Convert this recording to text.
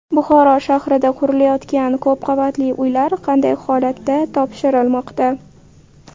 Buxoro shahrida qurilayotgan ko‘p qavatli uylar qanday holatda topshirilmoqda?